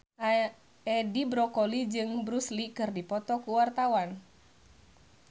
Edi Brokoli jeung Bruce Lee keur dipoto ku wartawan